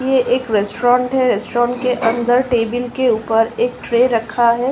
ये एक रेस्टुरेंट है। रेस्टुरेंट के अंदर टेबिल के ऊपर एक ट्रे रखा है।